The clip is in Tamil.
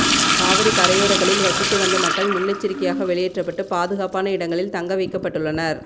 காவிரி கரையோரங்களில் வசித்து வந்த மக்கள் முன்னெச்சரிக்கையாக வெளியேற்றப்பட்டு பாதுகாப்பான இடங்களில் தங்க வைக்கப்பட்டுள்ளனர்